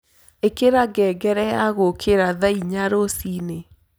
ĩkĩra ngengere ya gũũkĩra thaa ĩnya rũcĩĩnĩ